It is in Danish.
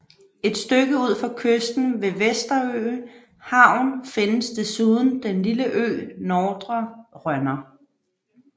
Et stykke ud for kysten ved Vesterø Havn findes desuden den lille ø Nordre Rønner